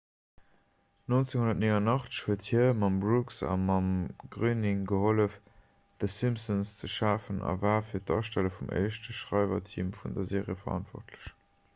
1989 huet hie mam brooks a mam groening gehollef d'the simpsons ze schafen a war fir d'astelle vum éischte schreiwerteam vun der serie verantwortlech